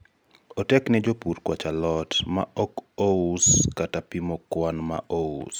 otek ne jopur kwacho alot ma ok ous kata pimo kwan ma ous